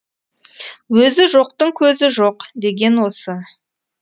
өзі жоқтың көзі жоқ деген осы